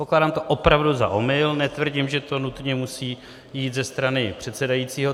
Pokládám to opravdu za omyl, netvrdím, že to nutně musí jít ze strany předsedajícího.